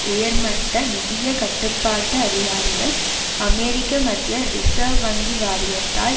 உயர்மட்ட நிதிய கட்டுப்பாட்டு அதிகாரிகள் அமெரிக்க மத்திய ரிசேர்வ் வங்கி வாரியத்தால்